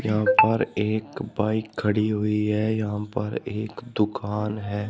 यहां पर एक बाइक खड़ी हुई है यहां पर एक दुकान है।